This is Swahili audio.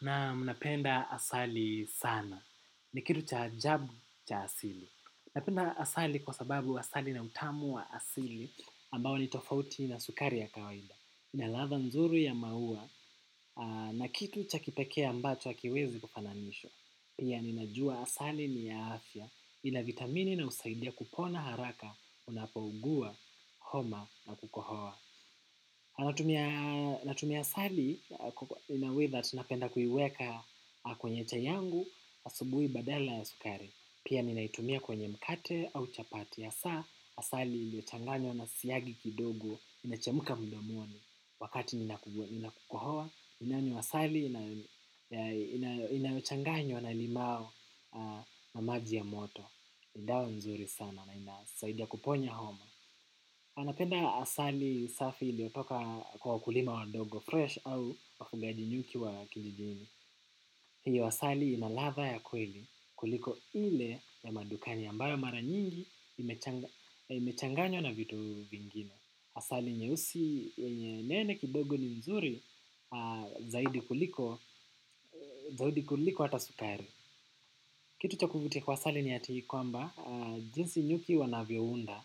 Na mnapenda asali sana. Ni kitu cha ajabu cha asili. Mnapenda asali kwa sababu asali na utamu wa asili ambao ni tofauti na sukari ya kawaida. Ina ladha nzuri ya maua na kitu cha kipekee ambacho hakiwezi kufananishwa. Pia ninajua asali ni ya afya ina vitamini inayosaidia kupona haraka unapougua homa na kukohoa. Natumia asali in a way that napenda kuiweka kwenye chai yangu asubui badala ya sukari. Pia ninaitumia kwenye mkate au chapati. Asaa asali iliyochanganywa na siagi kidogo inachemka mdomoni wakati nina ku kohua ninanywa asali inayochanganywa na limao na maji ya moto. Ni dawa nzuri sana na inasaidia kuponya homa. Anapenda asali safi iliotoka kwa wakulima wadogo fresh au wafugaji nyuki wa kijijini. Hiyo asali ina ladha ya kweli kuliko ile ya madukani ambayo mara nyingi imechanganywa na vitu vingine. Asali nyeusi yenye nene kidogo ni mzuri zaidi kuliko ata sukari. Kitu cha kuvutia kwa asali ni ati kwamba, jinsi nyuki wanavyounda